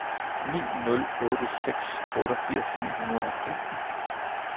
ni nul otte seks otteogfirs ni hundrede og femten